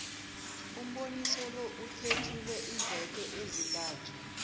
umboniso lo uthetjulwe iimveke ezintathu